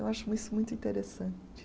Eu acho isso muito interessante.